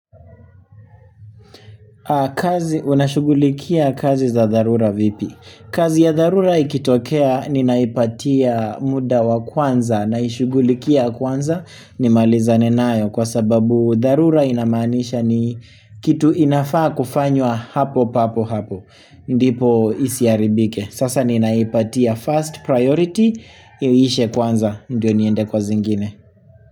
Kazi unashugulikia kazi za dharura vipi? Kazi ya dharura ikitokea ninaipatia muda wa kwanza naishugulikia kwanza nimaliza ne nayo kwa sababu dharura inamaanisha ni kitu inafaa kufanywa hapo papo hapo. Ndipo isiaribike. Sasa ninaipatia first priority iishe kwanza ndio niende kwa zingine.